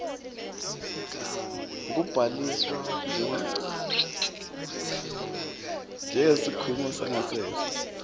kubhaliswa njengesikhungo sangasese